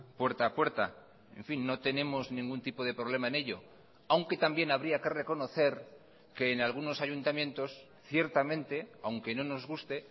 puerta a puerta en fin no tenemos ningún tipo de problema en ello aunque también habría que reconocer que en algunos ayuntamientos ciertamente aunque no nos guste